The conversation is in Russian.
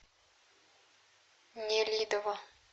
нелидово